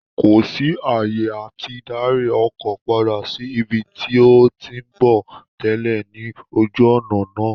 Kò sí àyè àti darí ọkọ̀ padà sí ibi tí ó ń tí ń bọ̀ tẹ́lẹ̀ ní ojú òná náà